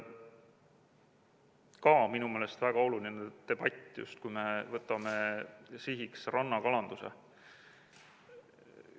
Ka minu meelest väga oluline debatt, just kui me võtame sihiks rannakalanduse.